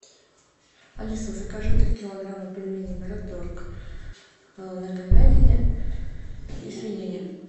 алиса закажи три килограмма пельменей мираторг на говядине и свинине